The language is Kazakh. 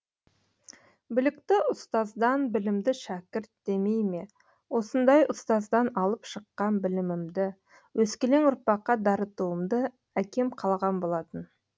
білікті ұстаздан білімді шәкірт демейме осындай ұстаздан алып шыққан білімімді өскелең ұрпаққа дарытуымды әкем қалаған болатын